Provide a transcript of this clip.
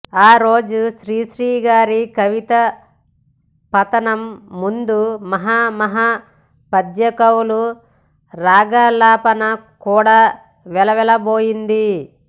ఆ రోజు శ్రీశ్రీ గారి కవితాపఠనం ముందు మహామహా పద్యకవుల రాగాలాపన కూడా వెలవెలపోయింది